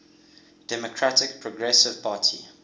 democratic progressive party